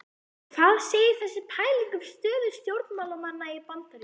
Og hvað segir þessi pæling um stöðu stjórnmálanna í Bandaríkjunum?